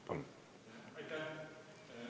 Andres Herkel.